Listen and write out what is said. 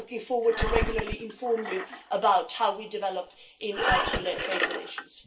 I look forward to regularly informing you about how we develop in our Chile trade relations.